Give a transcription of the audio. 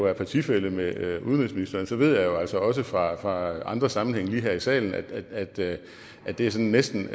er partifælle med udenrigsministeren ved jeg jo altså også fra andre sammenhænge end lige her i salen at det at det er sådan næsten